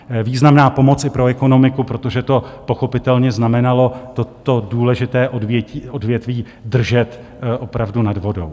Významná pomoc i pro ekonomiku, protože to pochopitelně znamenalo toto důležité odvětví držet opravdu nad vodou.